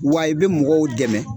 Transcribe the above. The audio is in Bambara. Wa i be mɔgɔw dɛmɛ